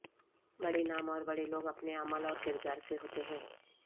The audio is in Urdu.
بڑے نام اور بڑے لوگ اپنے عمل اور کردار سے ہوتے ہیں